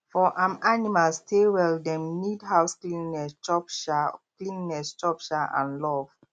for um animal stay well dem need house cleanliness chop um cleanliness chop um and love